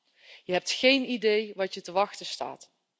8. Je hebt geen idee wat je te wachten staat.